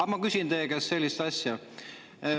Ma küsin teie käest sellist asja.